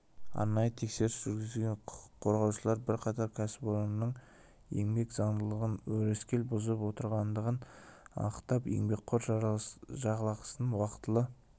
арнайы тексеріс жүргізген құқық қорғаушылар бірқатар кәсіпорынның еңбек заңдылығын өрескел бұзып отырғандығын анықтаған еңбеккер жалақысын уақытылы